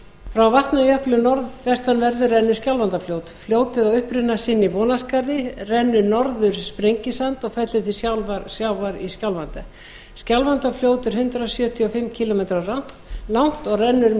frá vatnajökli norðvestanverðum rennur skjálfandafljót fljótið á uppruna sinn í vonarskarði rennur norður sprengisand og fellur til sjávar í skjálfanda skjálfandafljót er hundrað sjötíu og fimm kílómetra langt og rennur um